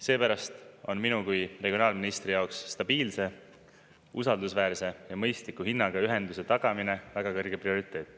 Seepärast on minu kui regionaalministri jaoks stabiilse, usaldusväärse ja mõistliku hinnaga ühenduse tagamine väga kõrge prioriteet.